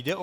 Jde o